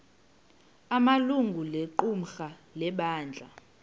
amalungu equmrhu lebandla